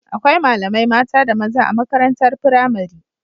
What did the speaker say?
Akwai malamai mata da maza a makarantar pramari